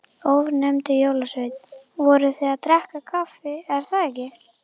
Ónefndur jólasveinn: Voruð þið að drekka kaffi, er það ekki?